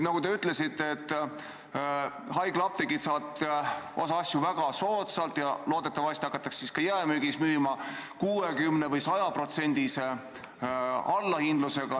Nagu te ütlesite, haiglaapteegid saavad osa asju osta väga soodsalt ja loodetavasti hakatakse siis ka jaemüügis müüma 60%- või 100%-lise allahindlusega.